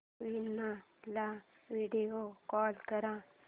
वीणा ला video call कर